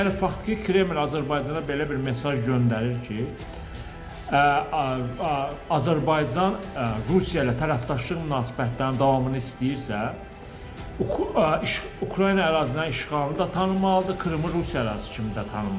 Yəni faktiki Kreml Azərbaycana belə bir mesaj göndərir ki, Azərbaycan Rusiya ilə tərəfdaşlıq münasibətlərinin davamını istəyirsə, Ukrayna ərazilərinin işğalını da tanımalıdır, Krımı Rusiya ərazisi kimi də tanımalıdır.